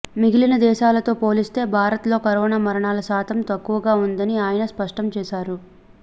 మిగిలిన దేశాలతో పోలిస్తే భారత్ లో కరోనా మరణాల శాతం తక్కువగా ఉందని ఆయన స్పష్టం చేశారు